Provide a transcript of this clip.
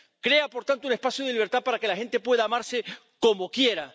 Crea, por tanto, un espacio de libertad para que la gente pueda amarse como quiera.